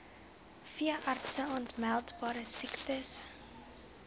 veeartse aanmeldbare siektes